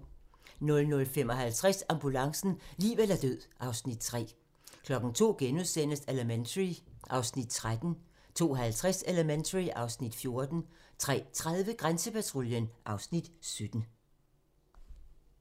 00:55: Ambulancen - liv eller død (Afs. 3) 02:00: Elementary (Afs. 13)* 02:50: Elementary (Afs. 14) 03:30: Grænsepatruljen (Afs. 17)